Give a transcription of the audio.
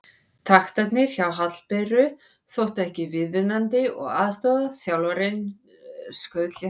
Taktarnir hjá Hallberu þóttu ekki viðunandi og aðstoðarþjálfarinn skaut létt á hana.